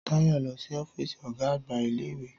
Táyọ̀ lọ sí ọ́físì ọ̀gá àgbà iléìwè